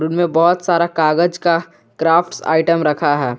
में बहुत सारा कागज का क्राफ्ट्स आइटम रखा है।